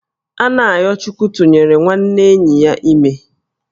Anayochukwu tụnyere nwanne enyi ya ime